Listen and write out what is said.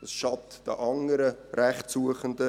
Dies schadet den anderen Rechtssuchenden.